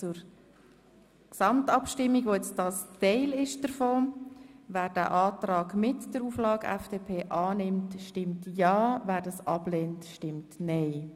Wer den Investitionsrahmenkredit Strasse 2018–2021 mit der Auflage der FDP annimmt, stimmt ja, wer dies ablehnt, stimmt nein.